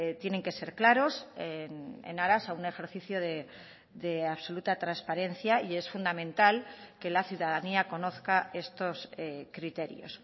tienen que ser claros en aras a un ejercicio de absoluta transparencia y es fundamental que la ciudadanía conozca estos criterios